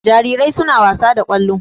Jarirai suna wasa da ƙwallo.